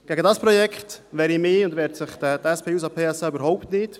Gegen dieses Projekt wehre ich mich und wehrt sich die SP-JUSO-PSA überhaupt nicht;